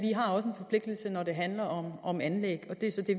forpligtelse når det handler om anlæg og det er så det